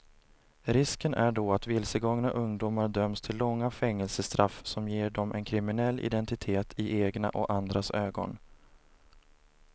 Risken är då att vilsegångna ungdomar döms till långa fängelsestraff som ger dem en kriminell identitet i egna och andras ögon.